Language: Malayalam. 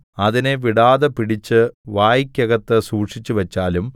അതിനെ വിടാതെ പിടിച്ച് വായ്ക്കകത്ത് സൂക്ഷിച്ചുവച്ചാലും